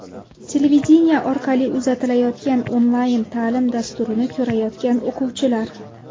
Televideniye orqali uzatilayotgan onlayn ta’lim dasturini ko‘rayotgan o‘quvchilar.